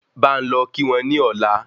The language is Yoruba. Bá n lọ kí wọ́n ni ọ̀la